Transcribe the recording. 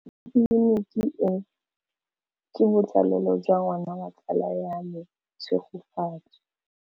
Tleliniki e, ke botsalêlô jwa ngwana wa tsala ya me Tshegofatso.